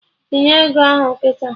Tinye ego ahụ kịta!